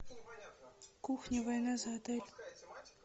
кухня война за отель